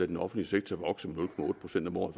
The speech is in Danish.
den offentlige sektor vokse med nul procent om året